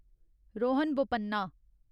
Rohan Bopanna